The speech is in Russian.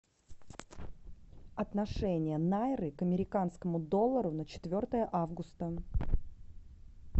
отношение найры к американскому доллару на четвертое августа